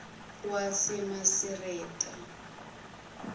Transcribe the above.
wasemasireta